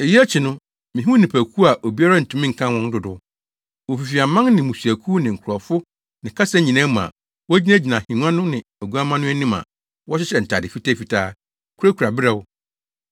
Eyi akyi no, mihuu nnipakuw a obiara ntumi nkan wɔn dodow. Wofifi aman ne mmusuakuw ne nkurɔfo ne kasa nyinaa mu a wogyinagyina ahengua no ne Oguamma no anim a wɔhyehyɛ ntade fitafitaa, kurakura berɛw.